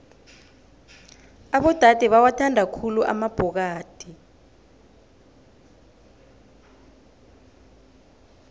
abodade bawathanda khulu amabhokadi